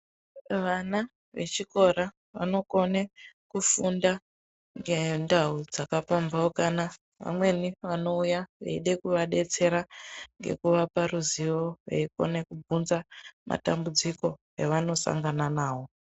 Vana vechikora vanokone kufunda ngendau dzakapambaukana vamweni vanouya veida kuvadetsera ngekuvapa ruzivo veikone kubvunza matambudziko avanosangana nawo.